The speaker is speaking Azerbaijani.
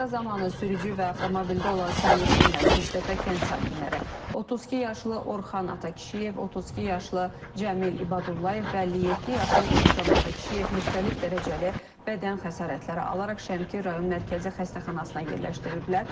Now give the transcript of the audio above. Qəza zamanı sürücü və avtomobildə olan sərnişinlər, Şiştəpə kənd sakinləri, 32 yaşlı Orxan Atakişiyev, 32 yaşlı Cəmil İbadullayev və 57 yaşlı İntiqam Atakişiyev müxtəlif dərəcəli bədən xəsarətləri alaraq Şəmkir rayon Mərkəzi Xəstəxanasına yerləşdiriliblər.